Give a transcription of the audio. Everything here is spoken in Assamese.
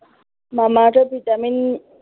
মামা আৰ্থৰ ভিটামিন